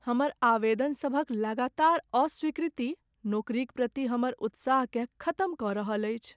हमर आवेदनसभक लगातार अस्वीकृति नौकरीक प्रति हमर उत्साहकेँ खत्म कऽ रहल अछि।